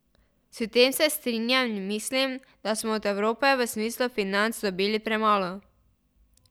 S tem se strinjam in mislim, da smo od Evrope v smislu financ dobili premalo.